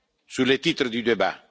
Sur le titre du débat?